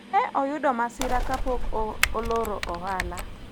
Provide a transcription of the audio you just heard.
ne oyudo masira kapok oloro ohala